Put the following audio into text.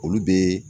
Olu bɛ